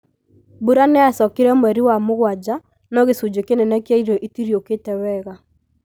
Mbura nĩyacokire mwei wa mũgwanja no gĩcunjĩ kĩnene kĩa irio itiriũkĩte wega